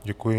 Děkuji.